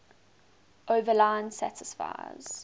overline satisfies